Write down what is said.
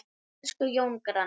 Elsku Jón granni.